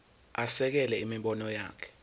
asekele imibono yakhe